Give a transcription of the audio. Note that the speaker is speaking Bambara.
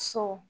So